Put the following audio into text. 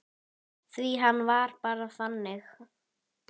Því hann var bara þannig.